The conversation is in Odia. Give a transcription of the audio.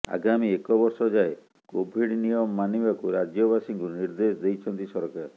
ଆଗାମୀ ଏକ ବର୍ଷ ଯାଏଁ କୋଭିଡ ନିୟମ ମାନିବାକୁ ରାଜ୍ୟବାସୀଙ୍କୁ ନିର୍ଦ୍ଦେଶ ଦେଇଛନ୍ତ ସରକାର